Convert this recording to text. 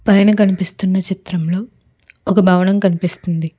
పైన కనిపిస్తున్న చిత్రంలో ఒక భవనం కనిపిస్తుంది.